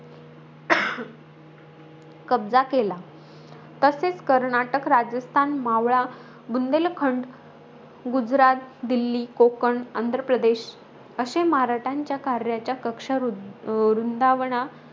कब्जा केला. तसेच कर्नाटक, राजस्थान, मावळा, बुंदेलखंड, गुजरात, दिल्ली, कोकण, आंध्रप्रदेश अशे मराठ्यांच्या कार्याच्या कक्षा रुं रुंदावना,